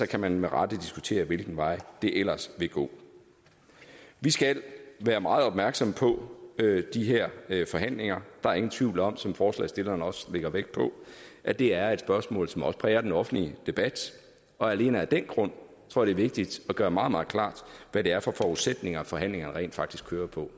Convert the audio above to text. kan man med rette diskutere hvilken vej det ellers vil gå vi skal være meget opmærksomme på de her forhandlinger der er ingen tvivl om som forslagsstillerne også lægger vægt på at det er et spørgsmål som også præger den offentlige debat og alene af den grund tror jeg det er vigtigt at gøre meget meget klart hvad det er for forudsætninger forhandlingerne rent faktisk kører på